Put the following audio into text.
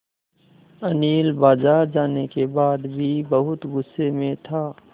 अनिल बाज़ार जाने के बाद भी बहुत गु़स्से में था